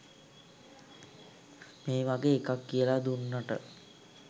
මේ වගේ එකක් කියලා දුන්නට.